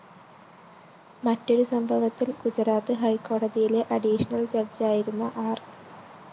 മറ്റൊരു സംഭവത്തില്‍ ഗുജറാത്ത് ഹൈക്കോടതിയിലെ അഡീഷണൽ ജഡ്ജായിരുന്ന ആര്‍